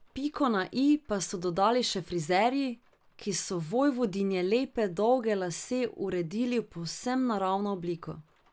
Piko na i pa so dodali še frizerji, ki so vojvodinjine lepe dolge lase uredili v povsem naravno obliko.